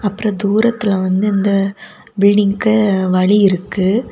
அப்புற தூரத்துல வந்து இந்த பில்டிங்க்கு வழி இருக்கு.